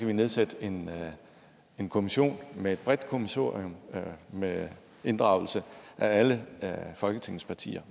vi nedsætte en en kommission med et bredt kommissorium med inddragelse af alle folketingets partier